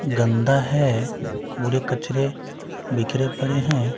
गंदा है कूड़े-कचरे बिखरे पड़े हैं।